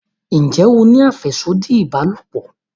njé o ní afẹsodi ìbálòpọ̀?